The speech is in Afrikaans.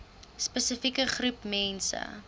spesifieke groep mense